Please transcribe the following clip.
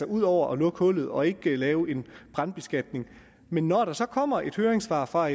ud over at lukke hullet og ikke lave en brandbeskatning men når der så kommer et høringssvar fra